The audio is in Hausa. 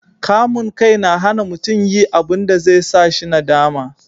kamun kai na hana mutum yi abunda zai sa shi nadama